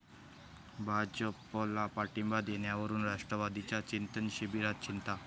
भाजपला पाठिंबा देण्यावरून राष्ट्रवादीच्या चिंतन शिबिरात चिंता